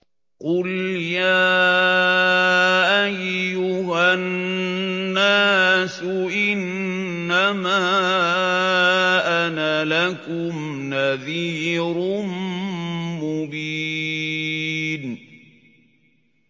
قُلْ يَا أَيُّهَا النَّاسُ إِنَّمَا أَنَا لَكُمْ نَذِيرٌ مُّبِينٌ